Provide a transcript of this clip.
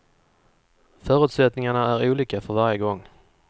Förutsättningarna är olika för varje gång.